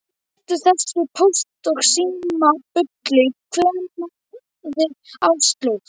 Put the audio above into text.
Hættu þessu Póst og Síma bulli kveinaði Áslaug.